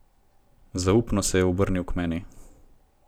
Zaupno se je obrnil k meni.